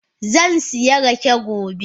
Zansiya rake gobe.